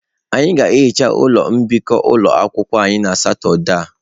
Anyị ga-ehicha ụlọ mbikọ ụlọ akwụkwọ anyị na Satọde a.